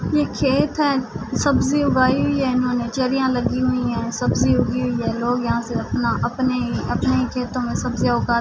یہ کھیت ہے۔ سبجی اگائی ہے انہونے، چرریا لگی ہی ہے۔ سبجی اگی ہوئی حیا لوگ یہاں سے اپنا اپنے اپنے ہی کھیتو مے سبجیا اگا--